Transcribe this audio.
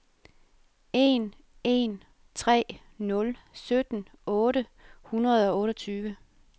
en en tre nul sytten otte hundrede og otteogtyve